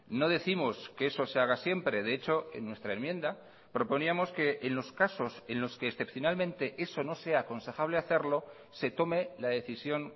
no décimos que eso se haga siempre de hecho en nuestra enmienda proponíamos que en los casos en los que excepcionalmente eso no sea aconsejable hacerlo se tome la decisión